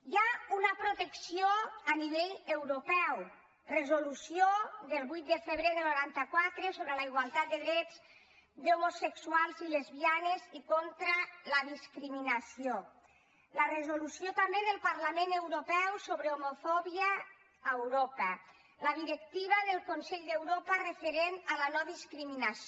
hi ha una protecció a nivell europeu resolució del vuit de febrer del noranta quatre sobre la igualtat de drets d’homosexuals i lesbianes i contra la discriminació la resolució també del parlament europeu sobre homofòbia a europa la directiva del consell d’europa referent a la nodiscriminació